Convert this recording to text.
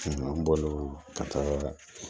an bɔlen ka taa